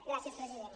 gràcies president